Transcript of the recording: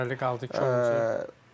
Bəli qaldı iki üçüncü.